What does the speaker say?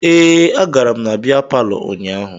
Ee, agara m na bịa palọ ụnyaahụ